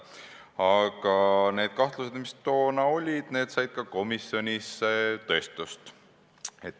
Aga need kahtlused, mis toona olid, said ka komisjonis tõestust.